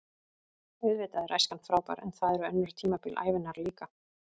Auðvitað er æskan frábær en það eru önnur tímabil ævinnar líka.